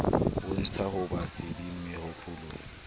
bontsha ho ba sedi mehopolong